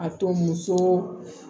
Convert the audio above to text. A to muso